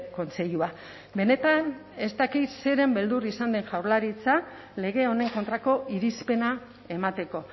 kontseilua benetan ez dakit zeren beldur izan den jaurlaritza lege honen kontrako irizpena emateko